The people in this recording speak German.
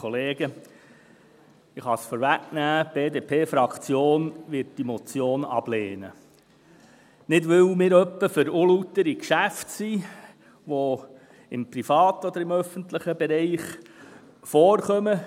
Die BDP-Fraktion wird diese Motion ablehnen – nicht etwa, weil wir für unlautere Geschäfte sind, die im privaten oder im öffentlichen Bereich vorkommen.